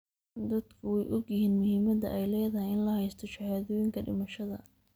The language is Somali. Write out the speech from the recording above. Dadku way ogyihiin muhiimadda ay leedahay in la haysto shahaadooyinka dhimashada.